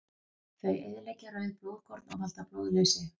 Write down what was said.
Þau eyðileggja rauð blóðkorn og valda blóðleysi.